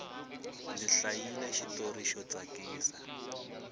ndzi hlayile xitori xo tsakisa